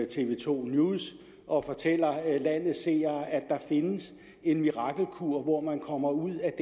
tv to news og fortæller landets seere at der findes en mirakelkur hvor man kommer ud af